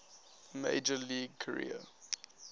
major league career